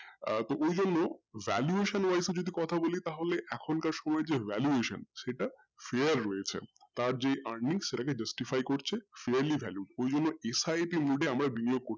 আহ তো এই জন্য valuation যদি কথা বলি তাহলে এখন কার সময় যে valuation সেটা fare way হয়েছে আর যে arning সেটাকে justify করছে yaerly value সেই জন্য SIP mode এ